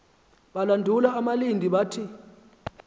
balandula abalindi bathi